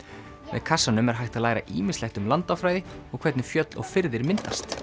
með kassanum er hægt að læra ýmislegt um landafræði og hvernig fjöll og firðir myndast